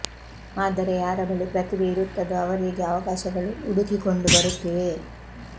ಆದರೆ ಯಾರ ಬಳಿ ಪ್ರತಿಭೆ ಇರುತ್ತದೋ ಅವರಿಗೆ ಅವಕಾಶಗಳು ಉಡುಕಿಕೊಂಡು ಬರುತ್ತಿವೆ